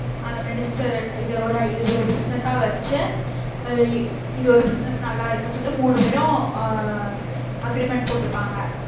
அந்த minister இத ஒரு இத ஒரு business ஆ வச்சு ஆஹ் இத ஒரு business நல்லா இருக்கு சொல்லிட்டு மூணு பெரும் ஆஹ் agreement போட்டுப்பாங்க